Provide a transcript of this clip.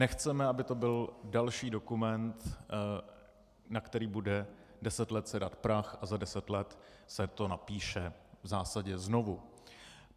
Nechceme, aby to byl další dokument, na který bude deset let sedat prach, a za deset let se to napíše v zásadě znovu.